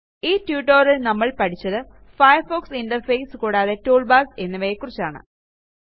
ഈ tutorialൽ നമ്മൾ പഠിച്ചത് ഫയർഫോക്സ് ഇന്റർഫേസ് കൂടാതെ ടൂൾബാർസ് എന്നിവയെക്കുറിച്ചാണ്